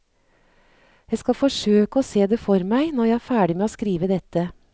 Jeg skal forsøke å se det for meg når jeg er ferdig med å skrive dette.